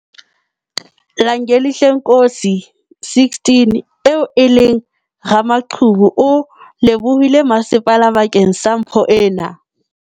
Langelihle Nkosi, 16, eo e leng ramaqhubu o lebohile masepala bakeng sa mpho ena.